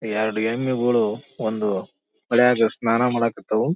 ಎರಡು ಎಮ್ಮಿಗಳು ಒಂದು ಹೊಳೆಯ ಸ್ನಾನ ಮಾದಕತವು.